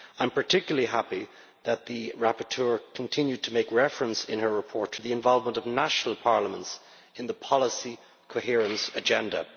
I am particularly happy that the rapporteur continued to make reference in her report to the involvement of national parliaments in the policy coherence agenda.